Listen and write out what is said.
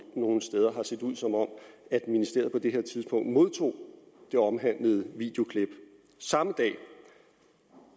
steder har set ud som om at ministeriet på det her tidspunkt modtog det omhandlede videoklip samme dag